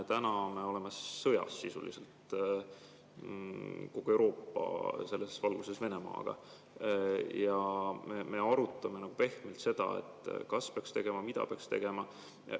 Täna me oleme selles valguses sisuliselt sõjas, kogu Euroopa Venemaaga, ja me arutame pehmelt seda, kas peaks tegema ja mida peaks tegema.